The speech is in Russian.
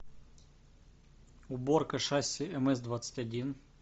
уборка шасси мс двадцать один